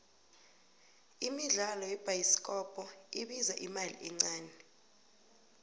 imidlalo yebhayisikopko ibiza imali encane